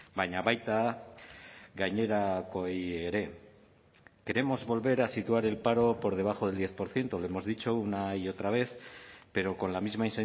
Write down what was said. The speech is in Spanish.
baina baita gainerakoei ere queremos volver a situar el paro por debajo del diez por ciento lo hemos dicho una y otra vez pero con la misma